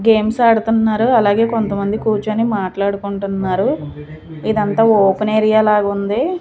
Games ఆడుతున్నారో అలాగే కొంతమంది కూర్చొని మాట్లాడుకుంటున్నారు ఇదంతా ఓపెన్ ఏరియా లాగుంది.